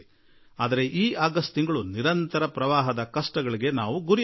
ಆದರೆ ಈ ಆಗಸ್ಟ್ ತಿಂಗಳು ಸತತ ಪ್ರವಾಹದ ಸಂಕಷ್ಟಗಳಿಂದ ತುಂಬಿತ್ತು